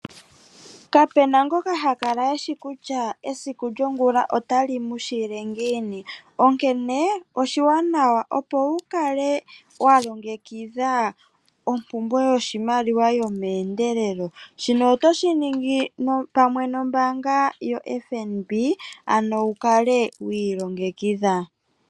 Kapena ngoka ha kala eshi kutya esiku lyongulu otali mushile ngiini, onkene owapumbwa okukala walongekidha ompumbwe yo meendelelo shino otoshi ningi nombaanga yaFNB ano wukale wiilongekidha.